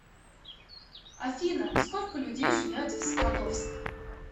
афина сколько людей живет в скадовск